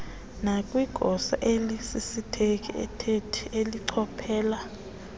nakwigosa elisisithethi elichophela